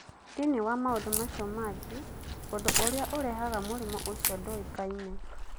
Thĩinĩ wa maũndũ macio mangĩ, ũndũ ũrĩa ũrehaga mũrimũ ũcio ndũĩkaine.